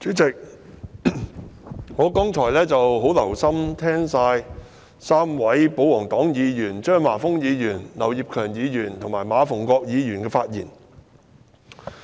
主席，我剛才很留心聆聽3位保皇黨議員，即張華峰議員、劉業強議員和馬逢國議員的發言。